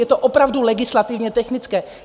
Je to opravdu legislativně technické.